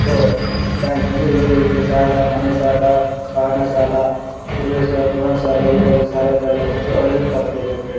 bank ನಲ್ಲಿ ವಿವಿಧ ರೀತಿಯ ಸಾಲ ಮನೆ ಸಾಲ ಗ್ರಾಮ ಸಾಲ ಗೃಹ ಗೃಹ ಸಾಲ ಇತರ ಸಾಲಗಳೆಲ್ಲ ಕೊಟ್ಟು ಹೆಲ್ಪ್ ಆಗ್ತಿದೆ ಜನ್ಗಳಿ --